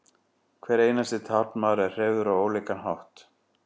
hver einasti taflmaður er hreyfður á ólíkan hátt